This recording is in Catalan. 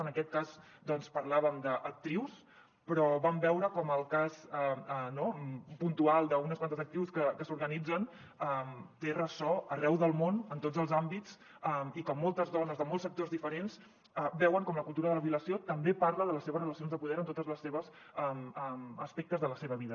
en aquest cas doncs parlàvem d’actrius però vam veure com el cas puntual d’unes quantes actrius que s’organitzen té ressò arreu del món en tots els àmbits i que moltes dones de molts sectors diferents veuen com la cultura de la violació també parla de les seves relacions de poder en tots els aspectes de la seva vida